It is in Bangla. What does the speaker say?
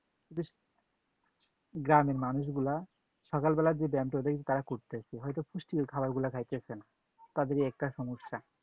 বেশ , গ্রামের মানুষগুলা সকাল বেলা যে ব্যায়ামটা ওদের তারা করতেছে, হয়তো পুষ্টিকর খাবারগুলো খাইতেছে না, তাদের এই একটা সমস্যা।